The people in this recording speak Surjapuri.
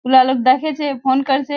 उला लोक देखें छे फ़ोन कोरछे।